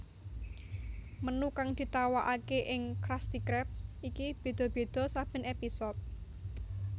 Menu kang ditawakake ing Krusty krab iki beda beda saben episode